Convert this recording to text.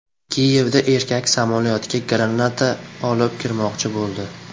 Kiyevda erkak samolyotga granata olib kirmoqchi bo‘ldi.